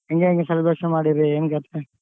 ಹೆಂಗೆ ಹೆಂಗೆ celebration ಮಾಡೀರಿ ಏನ್ ಕಥೆ?